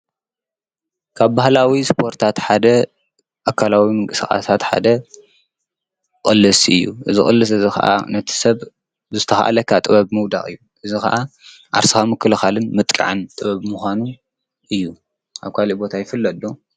ካብ ባህላዊ ስፖርታት ሓደ ኣካላዊ ምንቅሰቓሳት ሓደ ቕልስ እዩ። እዚ ቕልስ እዝ ኸዓ ነቲ ሰብ ብዝተስተኻዓለካ ጥበብ ምውዳቕ እዩ። እዝ ኸዓ ዓርስኻ ምክልኻልን ምጥቃዕን ጥበብ ምዃኑ እዩ ኣብ ኳልእ ቦት ይፍለጥ ዶ?